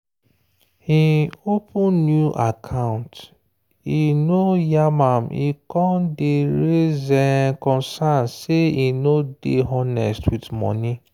hin open new account e no yarn am e con day raise concerns say e no day honest with money.